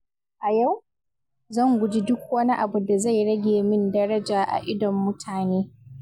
A yau, zan guji duk wani abu da zai rage min daraja a idon mutane.